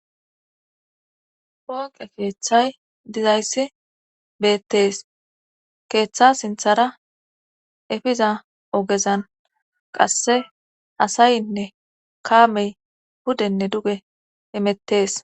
Ponqe feeththay dizayssi beettees keeththa sinthara efiza ogezan qasse asayinne kaamey hudenne duge emettees